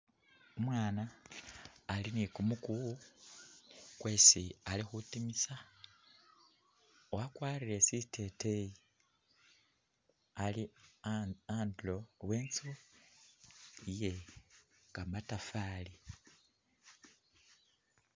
Umwaana ali ni kumukuwu kwesi ali khutimisa. Wakwarire siteteyi, ali andulo we inzu iye kamatafari.